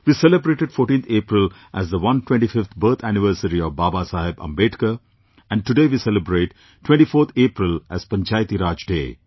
We celebrated 14th April as the 125th birth anniversary of Babasaheb Ambedekar and today we celebrate 24th April as Panchayati Raj Day